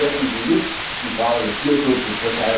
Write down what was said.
Aber vergessen Sie nicht die Frage des Tierschutzes.